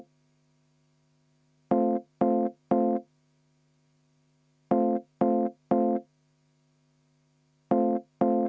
Siim Pohlak, palun!